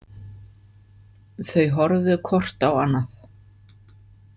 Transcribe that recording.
Þau horfðu hvort á annað.